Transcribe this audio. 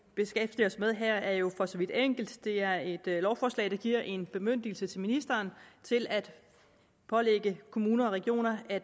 beskæftiger os med her er jo for så vidt enkelt det er et lovforslag der giver en bemyndigelse til ministeren til at pålægge kommuner og regioner at